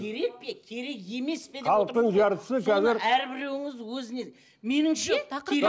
керек пе керек емес пе халықтың жартысы қазір соның әрбіреуіңіз өзіне меніңше